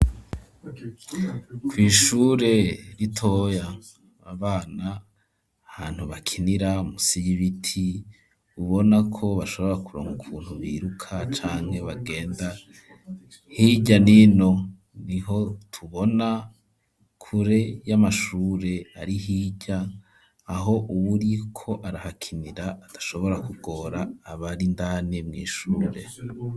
kw'ishure ritoya, abana ahantu bakinira munsi y'ibiti, ubona ko bashobora kuronka ukuntu biruka canke bagenda hirya n'ino, niho tubona, kure y'amashure ari hirya aho uwuriko arahakinira, adashobora kugora abari indani mw'ishure.